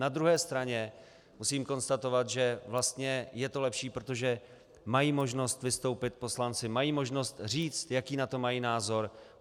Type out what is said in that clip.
Na druhé straně musím konstatovat, že vlastně je to lepší, protože mají možnost vystoupit poslanci, mají možnost říct, jaký na to mají názor.